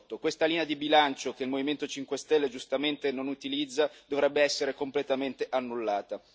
2018. Questa linea di bilancio, che il Movimento 5 Stelle giustamente non utilizza, dovrebbe essere completamente annullata.